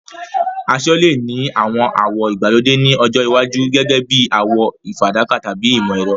Aṣọ lè ní àwọn àwọ̀ ìgbàlódé ní ọjọ́ iwájú, gẹ́gẹ́ bí àwọ̀ fàdákà tàbí ìmọ̀-ẹ̀rọ.